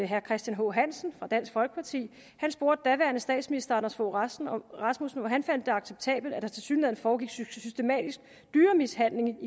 herre christian h hansen fra dansk folkeparti spurgte daværende statsminister anders fogh rasmussen om han fandt det acceptabelt at der tilsyneladende foregik systematisk dyremishandling